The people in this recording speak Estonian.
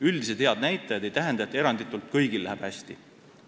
Üldised head näitajad ei tähenda, et eranditult kõigil läheb hästi.